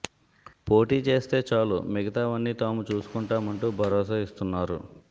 పోటీ చేస్తే చాలు మిగతావన్నీ తాము చూసుకుంటామంటూ భరోసా ఇస్తున్నారు